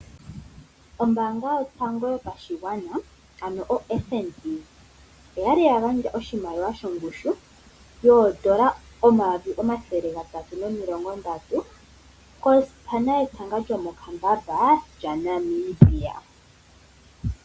Ombaanga yotango yopashigwana ano oFNB oyali ya gandja oshimaliwa shongushu yoodola omayovi omathele gatatu nomilongondatu kosipana yetanga lyomokambamba lyaNamibia.